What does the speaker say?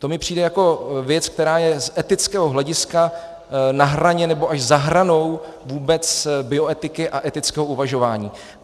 To mi přijde jako věc, která je z etického hlediska na hraně nebo až za hranou vůbec bioetiky a etického uvažování.